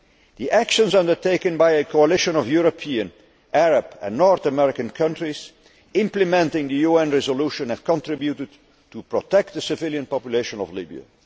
The actions undertaken by a coalition of European, Arab and North American countries implementing the UN resolution have helped protect the civilian population of Libya.